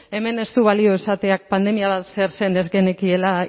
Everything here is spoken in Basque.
hemen ez du balio esateak pandemia zer zen ez genekiela